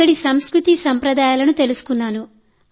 అక్కడి సంస్కృతిని అలవర్చుకున్నాను